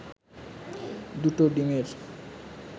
দুটো ডিমের